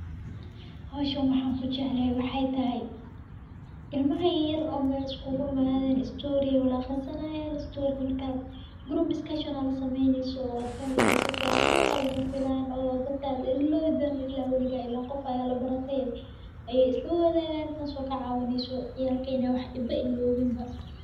Howshan waxaan kujeclehe waxay tahay, ilmaha yaryar oo mel iskuguimaden, story ay wada aqrisanayan, story]cs]-ga markas group discussion aa lasameyni so wadfahmeysaah su fican lama filan oo dadka lo ilowi donin ila weliga, ilen qof aa labarate ayaa islawadagan tas oo kacawineyso inaa wax dambe ilowin ba.